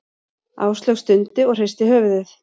Áslaug stundi og hristi höfuðið.